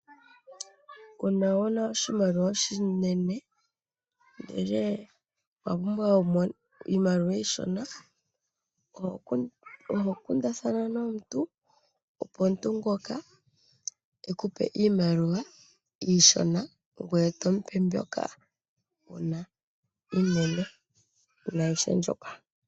Uuna wuna oshimaliwa oshinene ndele owapumbwa iimaliwa ishona ohokundathana nomuntu opo omuntu ngoka ekupe iimaliwa ishona ngweye tomupe mbyoka wuna iinene inayi shendjuka.